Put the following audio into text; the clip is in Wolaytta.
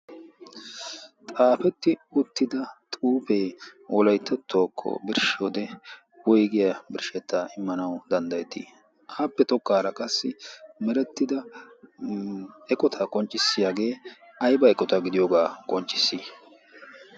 xaafetti uttida xuufee wolaittettuwaakko birshshiyode woigiyaa birshshettaa immanau danddayettii? aappe tokkaara qassi merettida eqotaa qonccissiyaagee aiba eqotaa gidiyoogaa qonccissi?